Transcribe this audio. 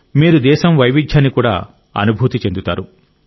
మీరు దేశం వైవిధ్యాన్ని కూడా అనుభూతి చెందుతారు